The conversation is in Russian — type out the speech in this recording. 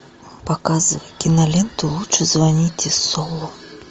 показывай киноленту лучше звоните солу